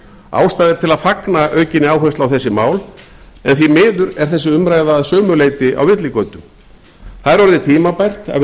ástæða er til að fagna aukinni áherslu á þessi mál en því miður er þessi umræða að sumu leyti á villigötum það er orðið tímabært að við